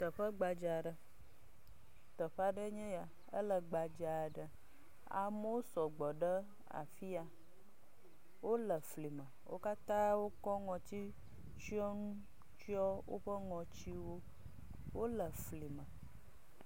Teƒe gbadzaa aɖe. Teƒe aɖee nye ya. Ele gbadzaa ɖe. Amewo sɔ gbɔ ɖe afi ya. Wole fli me. Wo katã wokɔ ŋɔtsitsyɔnu tsyɔ woƒe ŋɔti nu. Wole fli me.